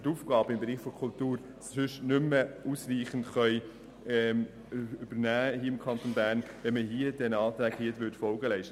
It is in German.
Die Aufgaben im Bereich der Kultur liessen sich nicht mehr ausreichend erfüllen, wenn diesen beiden Anträgen Folge geleistet würde.